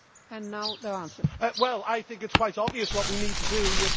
I think it is quite obvious what we need to do about the refugee crisis.